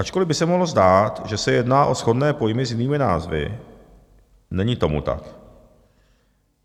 "Ačkoliv by se mohlo zdát, že se jedná o shodné pojmy s jinými názvy, není tomu tak.